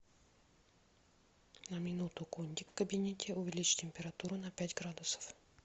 на минуту кондик в кабинете увеличь температуру на пять градусов